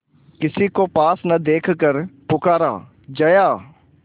किसी को पास न देखकर पुकारा जया